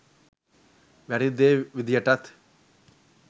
වැරදි දේ විදියටත්